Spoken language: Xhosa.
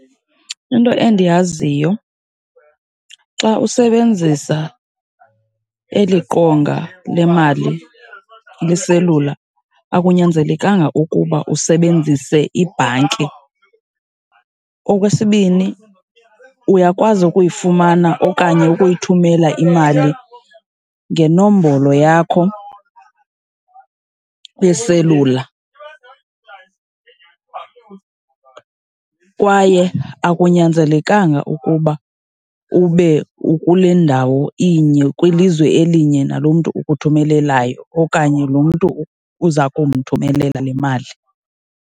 Into endiyaziyo, xa usebenzisa eli qonga lemali leselula akunyanzelekanga ukuba usebenzise ibhanki. Okwesibini uyakwazi ukuyifumana okanye ukuyithumela imali ngenombolo yakho yeselula kwaye akunyanzelekanga ukuba ube ukulendawo inye, kwilizwe elinye nalo mntu ukuthumelelayo okanye loo mntu uza kumthumelela le mali.